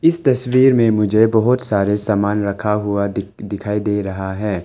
इस तस्वीर में मुझे बहोत सारे सामान रखा हुआ दिख दिखाई दे रहा है।